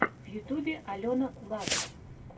в ютубе алена лав